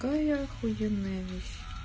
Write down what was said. кая ахуенная вещь